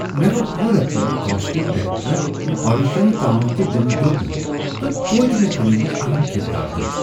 مےٚ گوٚو حیرت ییٚلہ کاسٹنگ ڈایریٚکٹرن مےٚ آڈیشن تام تہِ دِنہٕ دیوٗت نہٕ ، تہٕ توتہِ مے فِلمہِ منز اہم كِردار دیُت ۔